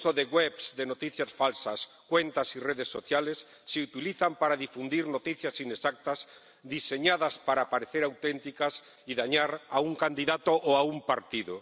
Webs de noticias falsas, cuentas y redes sociales se utilizan para difundir noticias inexactas, diseñadas para parecer auténticas y dañar a un candidato o a un partido.